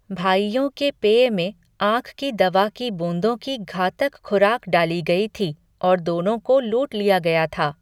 भाइयों के पेय में आँख की दवा की बूंदों की घातक खुराक डाली गई थी और दोनों को लूट लिया गया था।